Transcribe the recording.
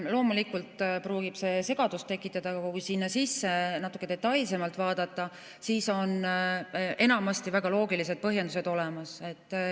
Loomulikult võib see segadust tekitada, aga kui sinna sisse natuke detailsemalt vaadata, siis on enamasti väga loogilised põhjendused näha.